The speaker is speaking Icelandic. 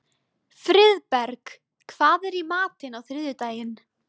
Friðberg, hvað er í matinn á þriðjudaginn?